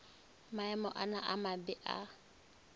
maemo ana a mabe a